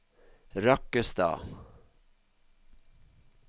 Rakkestad